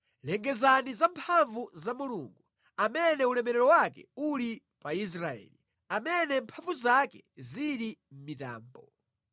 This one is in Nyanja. Lengezani za mphamvu za Mulungu, amene ulemerero wake uli pa Israeli amene mphamvu zake zili mʼmitambo.